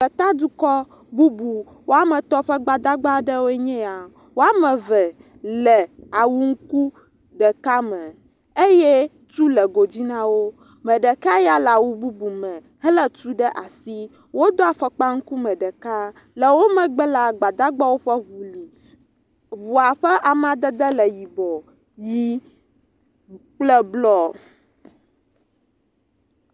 …dukɔ bubu woame etɔ̃ ƒe gbadagba ɖewoe nye ya. Woame eve le awu ŋku ɖeka eye tu le go dzi na wo. Ame ɖeka ya le awu bubu me, helé tu ɖe asi. Wodo afɔkpa ŋkume ɖeka, le wo megbe la, gbadagbawo ƒe ŋu li. Ŋua ƒe amadede le yibɔ, ʋɛ̃ kple blɔ.